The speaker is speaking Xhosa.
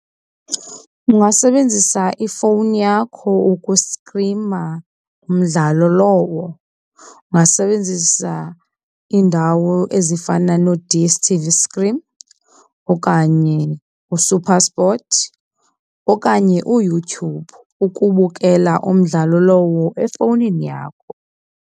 Ungasebenzisa ifowuni yakho ukustrima umdlalo lowo. Ungasebenzisa iindawo ezifana no-D_S_t_v Stream okanye uSuperSport okanye uYouTube ukubukela umdlalo lowo efowunini yakho.